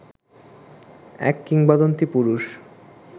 এক কিংবদন্তী পুরুষ